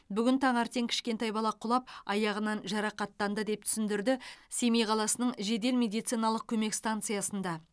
бүгін таңертең кішкентай бала құлап аяғынан жарақаттанды деп түсіндірді семей қаласының жедел медициналық көмек станциясында